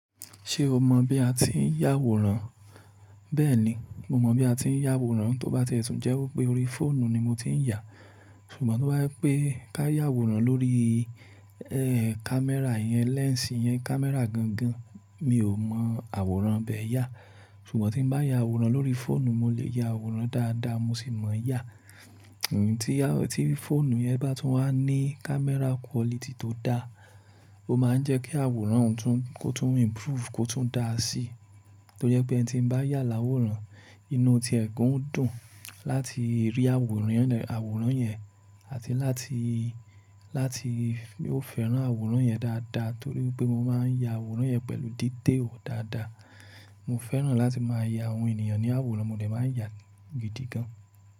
Ṣé o mọ bí a ti ń yà àwòrán? Bẹ́ẹ̀ni, mo mọ bí a ti ń yà àwòrán, tó bá ti ẹ̀tùn jẹ́ pé orí fóònù ni mo ti ń yà. Ṣùgbọ́n tó bá je wipe kayà àwòrán lórí, ẹ́ẹ́, kámẹ́rà yẹn, lẹ́ǹsì yẹn, kámẹ́rà gangan. Mi ò mọ àwòrán bẹ́ yà. Ṣùgbọ́n tí ń bá yà àwòrán lórí fóònù, mo lè ya àwòrán dáadáa, mo sì mọ yà. Ẹ̀mi tí á, tí fóònù yẹn bá tún wá ní kámẹ́rà quality tó dáa, ó máa ń jẹ́ kí àwòrán òun tún, kó tún improve, kó tún dáa sí. Tó je pé eniti n bá yà láwòrán, inú ti e gań o dun láti rí àwòrán yẹn, àwòrán yẹn àti láti, láti ó fẹ́ràn àwòrán yẹn dáadáa. Torí pé mo máa ń ya àwòrán yẹn pẹ̀lú dídé ò dáadáa. Mo fẹ́ràn láti máa ya àwọn ènìyàn ní àwòrán, mo de máa ń ya gidi gan.